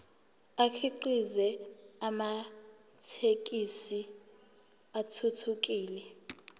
akhiqize amathekisthi athuthukile